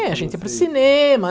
É, a gente ia para o cinema,